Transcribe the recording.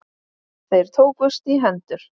Þeir tókust í hendur.